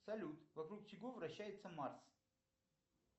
салют вокруг чего вращается марс